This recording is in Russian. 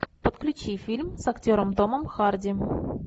подключи фильм с актером томом харди